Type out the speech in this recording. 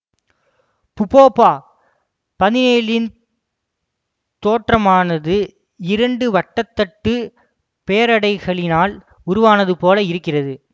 புபொப பதினேழுன் தோற்றமானது இரண்டு வட்டத்தட்டு பேரடைகளினால் உருவானது போல இருக்கிறது